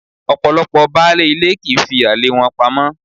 Ọ̀pọ̀lọ́pọ̀ baálé ilé kì í fi àlè wọn pamọ́.